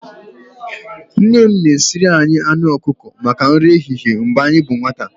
Nne m na-esiri anyị anụ ọkụkọ maka nri ehihie mgbe anyị bụ nwata.